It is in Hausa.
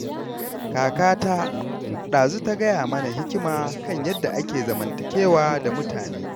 Kakata ɗazu ta gaya mana hikima kan yadda ake zamantakewa da mutane.